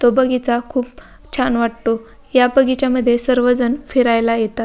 तो बगीचा खूप छान वाटतो. या बगीच्यामध्ये सर्वजण फिरायला येतात.